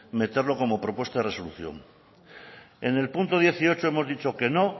meterlo como propuesta de resolución en el punto dieciocho hemos dicho que no